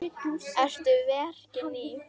Eru verkin ný?